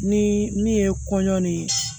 Ni min ye kɔɲɔ ni